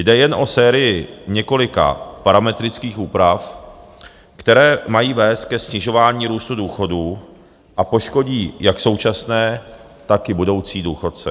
Jde jen o sérii několika parametrických úprav, které mají vést ke snižování růstu důchodů a poškodí jak současné, tak i budoucí důchodce.